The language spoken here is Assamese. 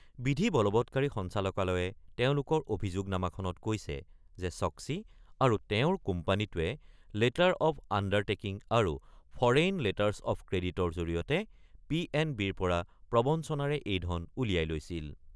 বিধি বলৱৎকাৰী সঞ্চালকালয়ে তেওঁলোকৰ অভিযোগনামাখনত কৈছে যে ছক্মী আৰু তেওঁৰ কোম্পানীটোৱে লেটাৰ অব্ আণ্ডাৰ টেকিং আৰু ফৰেইন লেটাৰ্ছ অব্ ক্ৰেডিটৰ জৰিয়তে পি এন বিৰ পৰা প্ৰবঞ্চনাৰে এই ধন উলিয়াই লৈছিল।